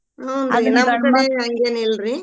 ಹೂನ್ರಿ ಹಂಗೆೇನಿಲ್ರಿ.